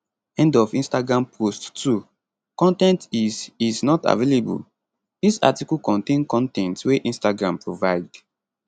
end of instagram post 2 con ten t is is not available dis article contain con ten t wey instagram provide